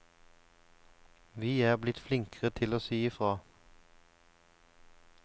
Vi er blitt flinkere til å si ifra.